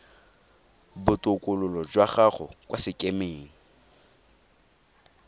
botokololo jwa gago kwa sekemeng